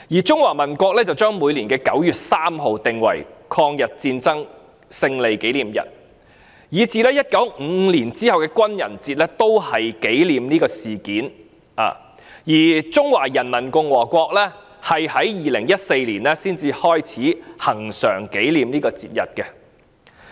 中華民國將每年的9月3日訂為抗日戰爭勝利紀念日，以至1955年之後的軍人節也是紀念這事件，而中華人民共和國則於2014年才開始恆常紀念這節日。